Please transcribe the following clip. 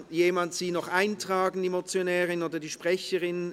Kann bitte jemand die Sprecherin noch eintragen?